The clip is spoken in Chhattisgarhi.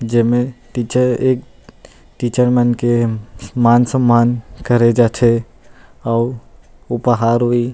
जेमे टीचर एक टीचर मनके मान सम्मान करे जाथे अऊ उपहार होही--